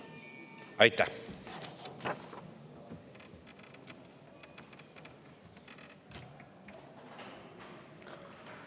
Aitäh!